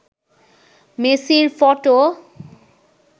মেসির ফটো